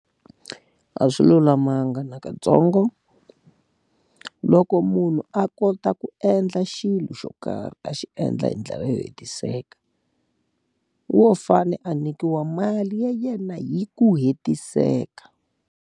A swi lulamanga nakatsongo. Loko munhu a kota ku endla xilo xo karhi a xi endla hi ndlela yo hetiseka, wo fanele a nyikiwa mali ya yena hi ku hetiseka.